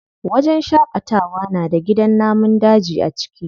Wajen shaƙatawa na da gidan namun daji a ciki.